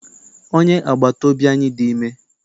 Onye agbata obi anyị dị ime.